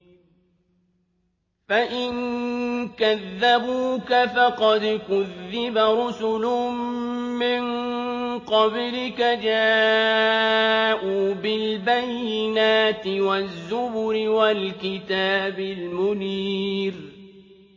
فَإِن كَذَّبُوكَ فَقَدْ كُذِّبَ رُسُلٌ مِّن قَبْلِكَ جَاءُوا بِالْبَيِّنَاتِ وَالزُّبُرِ وَالْكِتَابِ الْمُنِيرِ